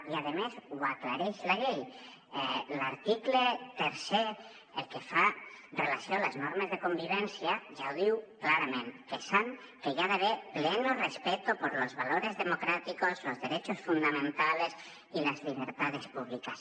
i a més ho aclareix la llei l’article tercer el que fa relació a les normes de convivència ja ho diu clarament que hi ha d’haver pleno respeto por los valores democráticos los derechos fundamentales y las libertades públicas